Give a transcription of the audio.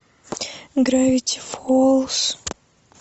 гравити фолз